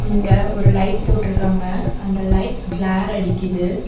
இங்க ஒரு லைட் போட்ருக்காங்க அந்த லைட் கிளார் அடிக்குது.